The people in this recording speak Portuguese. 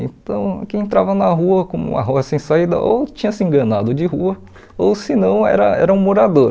Então, quem entrava na rua, como uma rua sem saída, ou tinha se enganado de rua, ou se não, era era um morador.